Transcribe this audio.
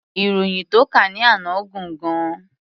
Ìròyìn tó kà ní àná gùn gan-an.